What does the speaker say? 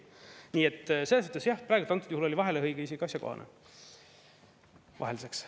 Nii et selles mõttes jah, praegu antud juhul oli vahelehõige isegi asjakohane vahelduseks.